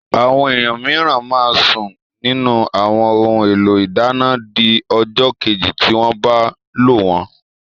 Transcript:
Àwọn èèyàn mìíràn máa sún nínù àwọn ohun èlò ìdáná di ọjọ́ kejì tí wọ́n bá lò wọ́n